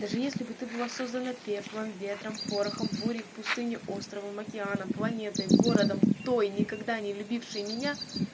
даже если бы ты была создана пеплом ветром порохом бури в пустыне островом океаном планетой городом той никогда не любивший меня